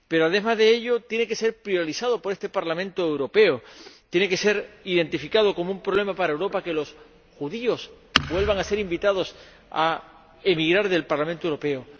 pero, además de ello, tiene que ser priorizado por este Parlamento Europeo. Tiene que ser identificado como un problema para Europa que los judíos vuelvan a ser invitados a emigrar del Parlamento Europeo